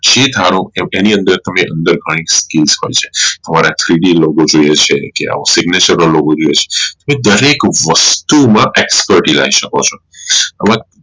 જે ધારો કે કે એની અંદર ઘણી skills હોઈ છે અમારે three d logo જોઈ છે કે આવો Signature નો લોગો જોઈએ છે તો તમે દરેક વસ્તુ માં expert રહી શકો છો હવે